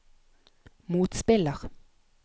motspiller